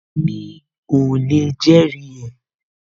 Mi ò lè jẹ́rìí ẹ